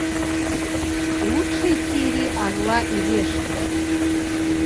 лучшие серии орла и решки